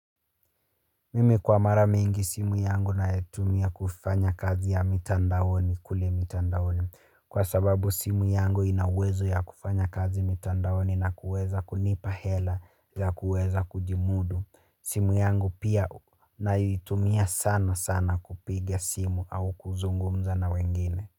Mimi kwa mara mingi simu yangu naetumia kufanya kazi ya mitandaoni, kule mitandaoni. Kwa sababu simu yangu inawezo ya kufanya kazi mitandaoni na kuweza kunipa hela ya kuweza kujimudu. Simu yangu pia naitumia sana sana kupiga simu au kuzungumza na wengine.